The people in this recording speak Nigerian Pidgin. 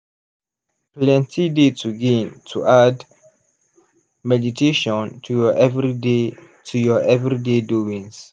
plenty dey to gain to add meditation to ur everyday to ur everyday doings.